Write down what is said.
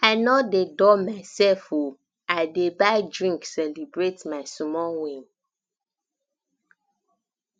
i no dey dull mysef o i dey buy drink celebrate my small win